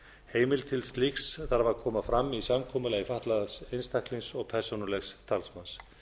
heimild til slíks þarf að koma fram í samkomulagi fatlaðs einstaklings og persónulegs talsmanns